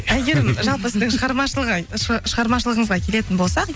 әйгерім жалпы сіздің шығармашылығыңызға келетін болсақ